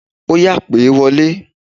Óyá, pè wọlé!